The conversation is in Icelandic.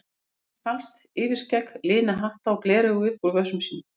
Hann tínir falskt yfirskegg, lina hatta og gleraugu upp úr vösum sínum.